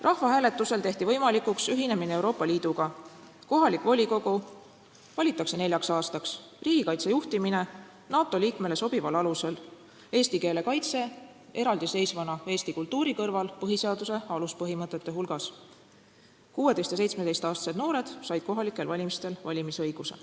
Rahvahääletusel tehti võimalikuks ühinemine Euroopa Liiduga, kohalik volikogu valitakse neljaks aastaks, riigikaitse juhtimine seati NATO liikmele sobival alusele, eesti keele kaitse on eraldiseisvana eesti kultuuri kõrval põhiseaduse aluspõhimõtete hulgas, 16–17-aastased noored on saanud kohalikel valimistel valimisõiguse.